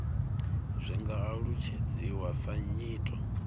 zwi nga alutshedziwa sa nyito